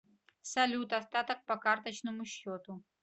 салют остаток по карточному счету